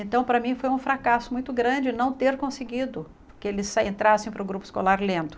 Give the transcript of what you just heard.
Então, para mim, foi um fracasso muito grande não ter conseguido que eles sa entrassem para o grupo escolar lendo.